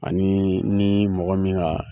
Ani ni mɔgɔ min ka